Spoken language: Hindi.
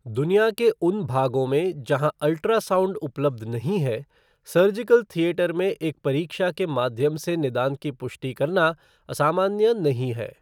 दुनिया के उन भागों में जहाँ अल्ट्रासाउंड उपलब्ध नहीं है, सर्जिकल थिएटर में एक परीक्षा के माध्यम से निदान की पुष्टि करना असामान्य नहीं है।